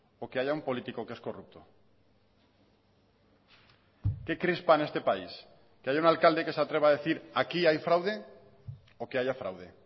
o que haya un político que es corrupto qué crispa en este país que haya un alcalde que se atreva a decir aquí hay fraude o que haya fraude